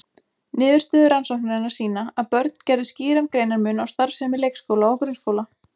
Niðurstöður rannsóknarinnar sýna að börnin gerðu skýran greinarmun á starfsemi leikskóla og grunnskóla.